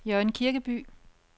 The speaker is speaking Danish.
Jørgen Kirkeby